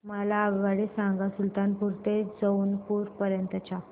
मला आगगाडी सांगा सुलतानपूर ते जौनपुर पर्यंत च्या